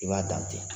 I b'a dan ten